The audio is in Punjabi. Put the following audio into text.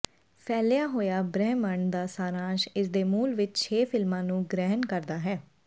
ਫੈਲਿਆ ਹੋਇਆ ਬ੍ਰਹਿਮੰਡ ਦਾ ਸਾਰਾਂਸ਼ ਇਸਦੇ ਮੂਲ ਵਿੱਚ ਛੇ ਫਿਲਮਾਂ ਨੂੰ ਗ੍ਰਹਿਣ ਕਰਦਾ ਹੈ